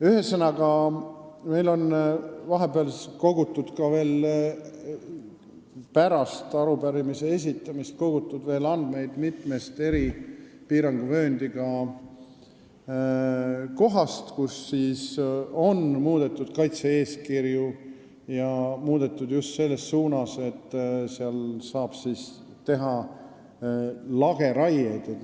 Ühesõnaga, meil on vahepeal, ka pärast arupärimise esitamist, kogutud veel andmeid mitmest eri piiranguvööndisse kuuluvast kohast, kus on muudetud kaitse-eeskirja, ja muudetud just selles suunas, et seal saab teha lageraiet.